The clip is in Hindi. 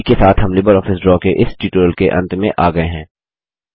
इसी के साथ हम लिबरऑफिस ड्रा के इस ट्यूटोरियल के अंत में आ गये हैं